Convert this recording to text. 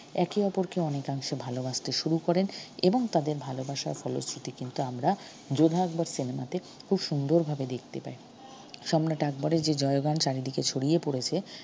একে অপরকে অনেকাংশে ভালবাসতে শুরু করেন এবং তাদের ভালবাসার ফলশ্রুতি কিন্তু আমরা যোধা আকবর cinema তে খুব সুন্দর ভাবে দেখতে পাই সম্রাট আকবরের যে জয়গান চারিদিকে ছড়িয়ে পড়েছে